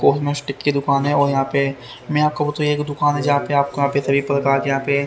कोटिक की दुकान है और यहां पे मैं आपको एक दुकान है जहां पे आपको यहां पे सभी प्रकार के यहां पे--